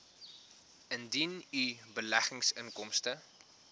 indien u beleggingsinkomste